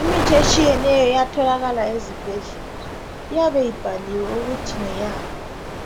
Imithi etshiyeneyo iyatholakala ezibhedlela. Iyabe ibhaliwe ukuthi ngeyani